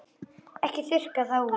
Ekki þurrka það út.